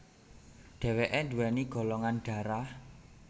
Dheweke duweni golongan dharah